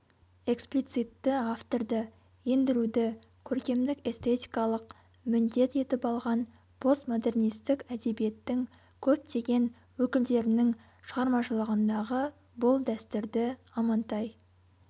эксплицитті авторды ендіруді көркемдік-эстетикалық міндет етіп алған постмодернистік әдебиеттің көптеген өкілдерінің шығармашылығындағы бұл дәстүрді амантай